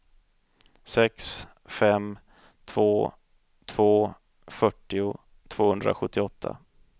sex fem två två fyrtio tvåhundrasjuttioåtta